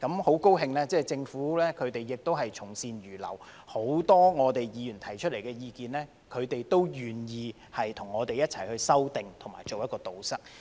很高興政府可以從善如流，對於很多議員提出的意見，他們都願意跟我們一起修訂和堵塞。